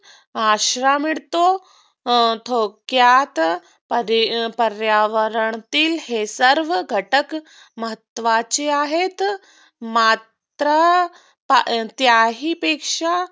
आसरा मिळतो थोडक्यात पर्यावरणातील हे सर्व घटक महत्वाचे आहेत. मात्र त्याहीपेक्षा